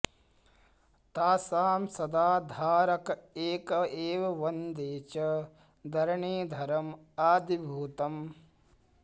तासां सदा धारक एक एव वन्दे च धरणीधरमादिभूतम्